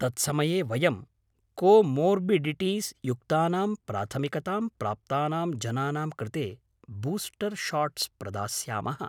तत्समये वयं comorbidities युक्तानां प्राथमिकतां प्राप्तानां जनानां कृते बूस्टर् शाट्स् प्रदास्यामः।